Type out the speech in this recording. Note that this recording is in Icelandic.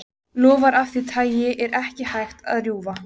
Loforð af því tagi er ekki hægt að rjúfa.